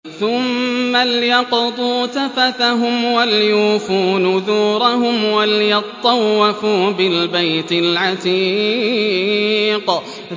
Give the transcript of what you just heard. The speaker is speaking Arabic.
ثُمَّ لْيَقْضُوا تَفَثَهُمْ وَلْيُوفُوا نُذُورَهُمْ وَلْيَطَّوَّفُوا بِالْبَيْتِ الْعَتِيقِ